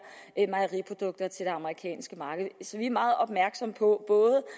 mejeriprodukter til det amerikanske marked så vi er meget opmærksomme på